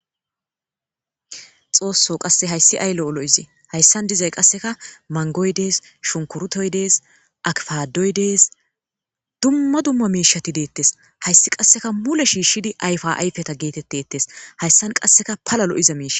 xoosso qasse hayssi ay lo'o lo'ize hayssan dizay qasseka mangoy dees shunkurutoy dees akfadoy dees dumma dumma miishati deettes hayssi qasseka mule shiishidi ayfa ayfeta geetetteettes hayssan qasseka pala lo'iza miishi.